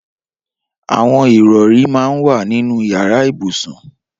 Awọn irọ̀rí mà n wà ninú iyàrà ibúsún